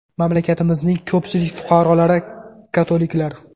Mamlakatimizning ko‘pchilik fuqarolari katoliklar.